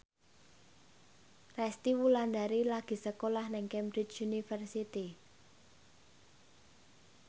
Resty Wulandari lagi sekolah nang Cambridge University